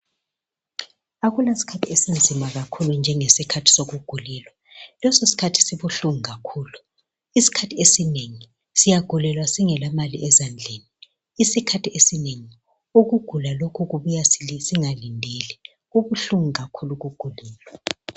Akula sikhathi esinzima kakhulu njengesikhathi sokugulelwa, leso sikhathi sibuhlungu kakhulu. Isikhathi esinengi siyagulelwa singela mali ezandleni ngoba ukugula lokhu kubuya singalindeli. Kubuhlungu kakhulu ukugulelwa.